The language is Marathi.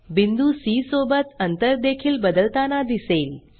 बिंदू सी सोबत अंतर देखील बदलताना दिसेल